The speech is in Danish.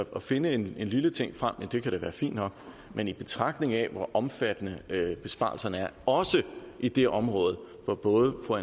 kan finde en lille ting frem kan det da være fint nok men i betragtning af hvor omfattende besparelserne er også i det område hvor både fru